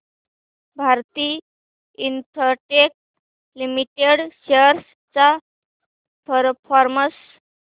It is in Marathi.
भारती इन्फ्राटेल लिमिटेड शेअर्स चा परफॉर्मन्स